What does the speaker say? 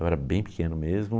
Eu era bem pequeno mesmo.